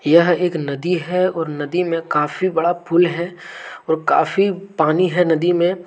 यह एक नदी है और नदी में काफी बड़ा पुल है और काफी पानी है नदी में।